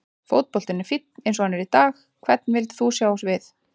Fótboltinn er fínn eins og hann er í dag Hvern vildir þú sjá á sviði?